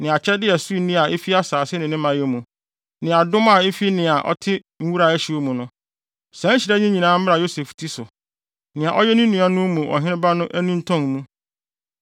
ne akyɛde a ɛso nni a efi asase ne ne mayɛ mu, ne adom a efi nea na ɔte nwura a ɛhyew mu no. Saa nhyira yi nyinaa mmra Yosef ti so, nea ɔyɛ ne nuanom mu ɔheneba no anintɔn mu.